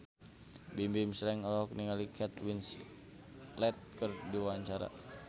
Bimbim Slank olohok ningali Kate Winslet keur diwawancara